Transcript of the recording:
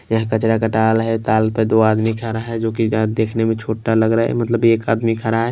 यहाँ कचरा का ताल है ताल पे दो आदमी खरा है जो कि देखने में छोटा लग रहा है मतलब एक आदमी खरा है।